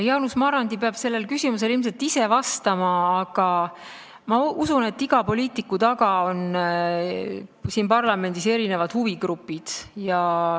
Jaanus Marrandi peab sellele küsimusele ilmselt ise vastama, aga ma usun, et iga poliitiku taga on siin parlamendis erinevad huvigrupid.